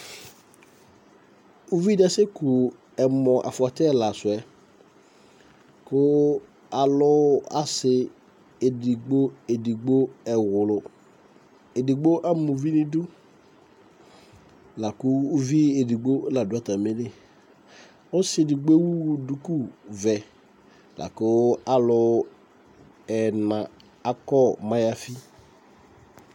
ouvidi ɑseku ɛmo ɑfoti ɛlasue ku ɑlu ɑlu ɑsi ɛdigbo ɛwlou ɛdigbo ɑma ouvi nidu lɑ ku ouvl ɛdigbo lɑdu ɑtɑmili ɔsi ɛdigbo ɛwu dukuvé laku ɑlu ɛna ɑkɔ mɑyafi